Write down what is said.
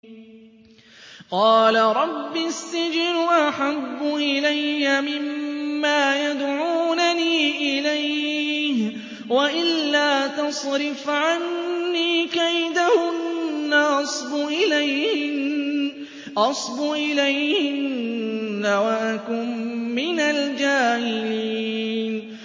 قَالَ رَبِّ السِّجْنُ أَحَبُّ إِلَيَّ مِمَّا يَدْعُونَنِي إِلَيْهِ ۖ وَإِلَّا تَصْرِفْ عَنِّي كَيْدَهُنَّ أَصْبُ إِلَيْهِنَّ وَأَكُن مِّنَ الْجَاهِلِينَ